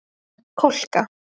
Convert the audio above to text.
Kolka